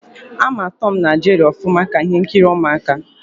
Ama Tọm na Jeri ọfụma, ka ihe nkiri ụmụaka